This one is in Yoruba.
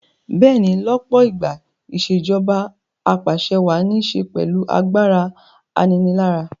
Bẹ́ẹ̀ni lọ́pọ̀ ìgbà ìṣèjoba Ap'àṣẹwàá ní ṣe pẹ̀lú agbára aninilára